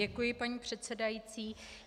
Děkuji, paní předsedající.